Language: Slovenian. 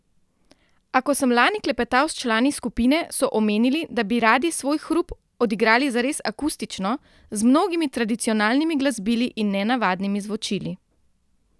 A ko sem lani klepetal s člani skupine, so omenili, da bi radi svoj hrup odigrali zares akustično, z mnogimi tradicionalnimi glasbili in nenavadnimi zvočili.